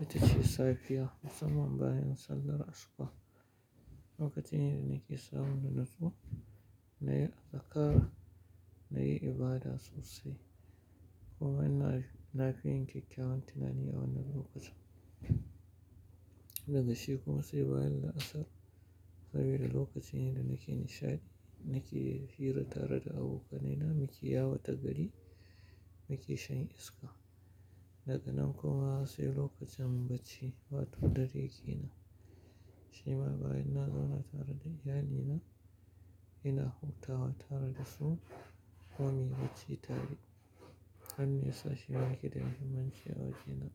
ita ce safiya musamman bayan sallar asuba. Lokacin yada nake samun na natsuwa, na yi azakar, na yi ibada sosai kuma ina lafiyan kyakkyawan tunani a wannan lokacin. Daga shi kuma sai bayan la'asar sabida lokacin ne da nake nishaɗi, nake hira tare da abokanai na muke yawo ta gari muke shan iska. Daga nan kuma sai lokacin bacci wato dare ke nan. Shi ma bayan na zauna tare da, iyalina ina hutawa tare da su kuma muyi bacci tare. Hanne ya sa shi ma yake da muhimmanci a wajena.